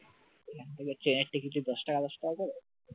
ওখান থেকে ট্রেনের টিকিট দশ টাকা দশ টাকা করে